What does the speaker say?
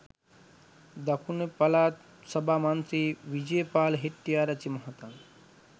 දකුණුපළාත් සභා මන්ත්‍රී විජේපාල හෙට්ටිආරච්චි මහතා